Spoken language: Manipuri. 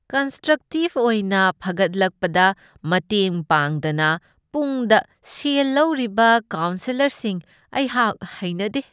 ꯀꯟꯁꯇ꯭ꯔꯛꯇꯤꯕ ꯑꯣꯏꯅ ꯐꯒꯠꯂꯛꯄꯗ ꯃꯇꯦꯡ ꯄꯥꯡꯗꯅ ꯄꯨꯡꯗ ꯁꯦꯜ ꯂꯧꯔꯤꯕ ꯀꯥꯎꯁꯦꯂꯔꯁꯤꯡ ꯑꯩꯍꯥꯛ ꯍꯩꯅꯗꯦ꯫